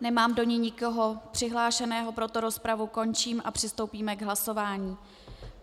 Nemám do ní nikoho přihlášeného, proto rozpravu končím a přistoupíme k hlasování.